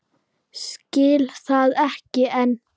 Skil það ekki enn.